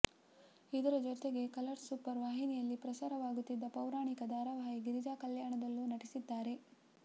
ಇದರ ಜೊತೆಗೆ Colors Super ವಾಹಿನಿಯಲ್ಲಿ ಪ್ರಸಾರವಾಗುತ್ತಿದ್ದ ಪೌರಾಣಿಕ ಧಾರಾವಾಹಿ ಗಿರಿಜಾ ಕಲ್ಯಾಣ ದಲ್ಲೂ ನಟಿಸಿದ್ದಾರೆ